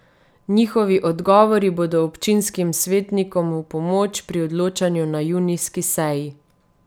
Njihovi odgovori bodo občinskim svetnikom v pomoč pri odločanju na junijski seji.